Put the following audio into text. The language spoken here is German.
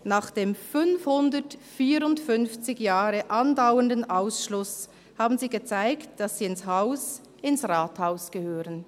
Nach dem 554 Jahre andauernden Ausschluss haben sie gezeigt, dass sie ins Haus, ins Rathaus, gehören.